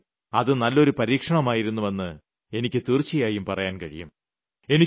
എന്നാലും അത് നല്ലൊരു പരീക്ഷണമായിരുന്നുവെന്ന് എനിയ്ക്ക് തീർച്ചയായും പറയാൻ കഴിയും